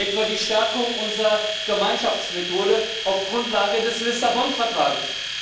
Etwa die Stärkung unserer Gemeinschaftsmethode auf Grundlage des Lissabon Vertrags.